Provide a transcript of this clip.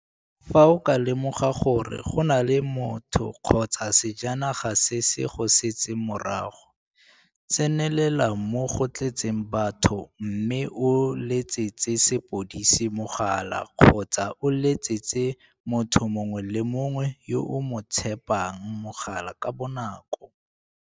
Fa o ka lemoga gore go na le motho kgotsa sejanaga se se go setseng morago, tsenelela mo go tletseng batho mme o letsetse sepodisi mogala kgotsa o letsetse motho mongwe le mongwe yo o mo tshepang mogala ka bonako.